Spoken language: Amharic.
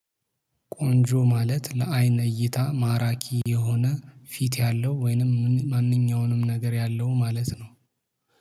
ቆንጆ ማለት ለአይነ እይታ ማራኪ የሆነ ፊት ያለው ወይንም ማንኛውንም ነገር ያለው ማለት ነው